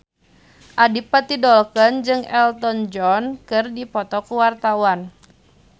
Adipati Dolken jeung Elton John keur dipoto ku wartawan